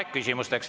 On aeg küsimusteks.